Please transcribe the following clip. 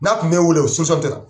N'a tun mɛ wele, o tɛ